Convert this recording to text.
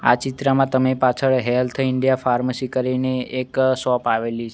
આ ચિત્રમાં તમે પાછળ હેલ્થ ઇન્ડિયા ફાર્મસી કરીને એક શોપ આવેલી--